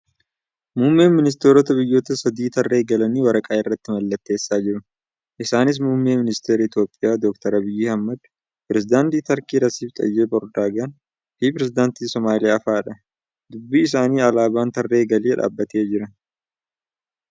Muummeen ministaroita biyyoota sadii tarree galanii waraqaa irratti mallatteessaa jiru. Isaanis muummee ministara Itiyoophiyaa Dr. Abiyyi Ahmad , Pireezidaantii Turkii Rasiiph Xaayib Erdoogaan fi Pireezidaantii Somaaliyaa fa'aadha. Duuba isaanii alaabaan tarree galee dhaabbatee jira.